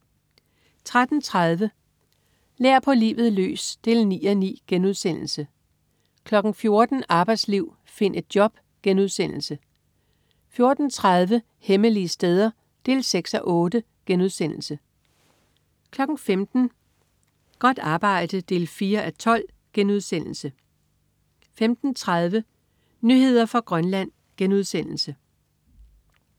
13.30 Lær på livet løs 9:9* 14.00 Arbejdsliv, find et job* 14.30 Hemmelige steder 6:8* 15.00 Godt arbejde 4:12* 15.30 Nyheder fra Grønland*